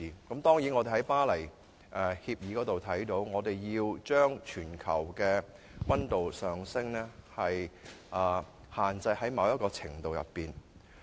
根據《巴黎協定》所訂，我們必須將全球的溫度上升限制於某一程度內。